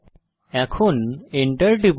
এখন enter টিপুন